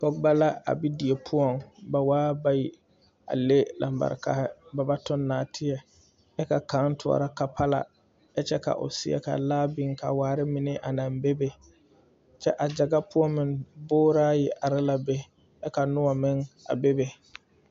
Pɔgeba la a be die poɔŋ ba waa bayi a le lambarikahi ba ba toŋ nɔɔteɛ kyɛ ka kaŋ toɔrɔ kapala ka myɛ ka o seɛ ka laa biŋ a waare mine a naŋ bebe kyɛ a gyaga poɔ meŋ boore ayi are la be kyɛ ka noɔ meŋ a bebe.